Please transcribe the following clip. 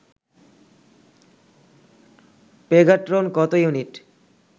Pegatron কত unit